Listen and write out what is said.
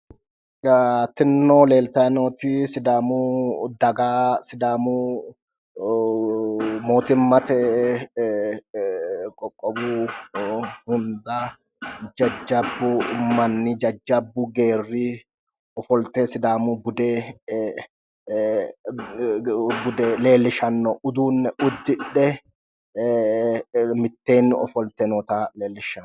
Tinino leelitayi nooti sidaamu daga sidaamu mootimate qoqqowu hunda jajjabbu manni jajjabbu geeri ofollite sidaamu bude leelishano uduune uddidhe miteeni offollite noota leellishshano